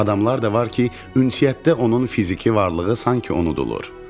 Adamlar da var ki, ünsiyyətdə onun fiziki varlığı sanki unudulur.